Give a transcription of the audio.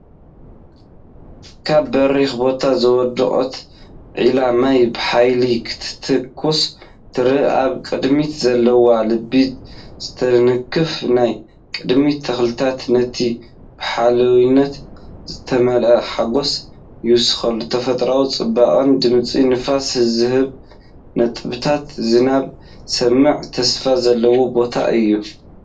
ካብ በሪኽ ቦታ ዝወደቐት ዒላ ማይ ብሓይሊ ክትትኩስ ትረአ። ኣብ ቅድሚኡ ዘለዉ ልቢ ዝትንክፉ ናይ ቅድሚት ተኽልታት ነቲ ብሓምላይነቶም ዝተመልአ ሓጐስ ይውስኹሉ። ተፈጥሮኣዊ ጽባቐን ድምጺ ነፍሲ ዝህብ ነጠብጣብ ዝናብን ዝስማዕ ተስፋ ዘለዎ ቦታ እዩ።